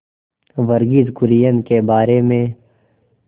वर्गीज कुरियन के बारे में